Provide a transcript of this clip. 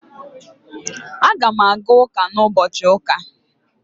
Aga m aga ụka na ụbọchị ụka